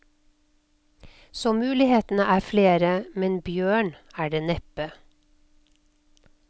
Så mulighetene er flere, men bjørn er det neppe.